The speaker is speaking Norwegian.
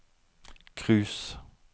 cruise